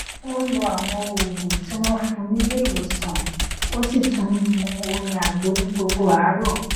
ó n lo àwọn òògùn tí wọn fún nílé ìwòsànó sì tún n mu omi àgbo ní gbogbo àárọ